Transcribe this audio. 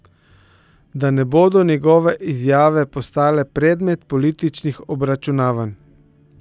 Da ne bodo njegove izjave postale predmet političnih obračunavanj.